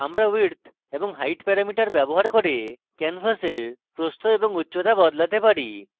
আমরা width এবং height parameter ব্যবহার করে ক্যানভাসের প্রস্থ এবং উচ্চতা বদলাতে পারি